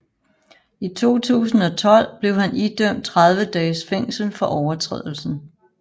I 2012 blev han idømt 30 dages fængsel for overtrædelsen